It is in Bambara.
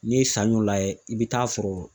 N'i ye saɲɔn lajɛ i be taa sɔrɔ